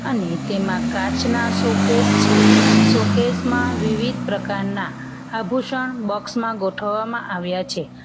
ને તેમાં કાચના શોકેસ છે શોકેસ માં વિવિધ પ્રકારના આભૂષણ બોક્સ માં ગોઠવવામાં આવ્યા છે.